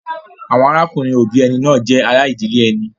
Àwọn arákùnrin-òbí ẹni náà jẹ́ ará ìdílé ẹni.